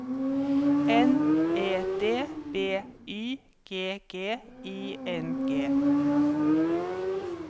N E D B Y G G I N G